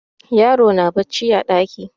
Yaron na bacci a ɗaki.